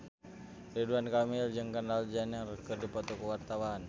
Ridwan Kamil jeung Kendall Jenner keur dipoto ku wartawan